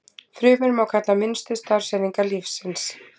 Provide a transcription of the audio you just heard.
Frumur má kalla minnstu starfseiningar lífsins.